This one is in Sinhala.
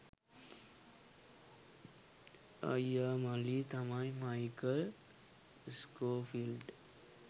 අයියා මල්ලි තමයි මයිකල් ස්කෝෆිල්ඩ්